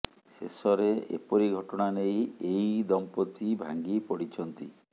ଶେଷରେ ଏପରି ଘଟଣା ନେଇ ଏହି ଦମ୍ପତି ଭାଙ୍ଗି ପଡ଼ିଛନ୍ତି